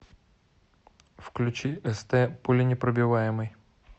включи эстэ пуленепробиваемый